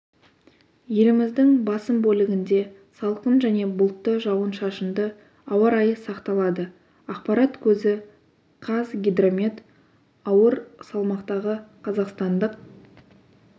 еліміздің басым бөлігінде салқын және бұлтты жауын-шашынды ауа райы сақталады ақпарат көзі қазгидромет ауыр салмақтағы қазақстандық